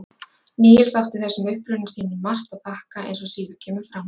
níels átti þessum uppruna sínum margt að þakka eins og síðar kemur fram